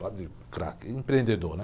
Padre craque, empreendedor, né?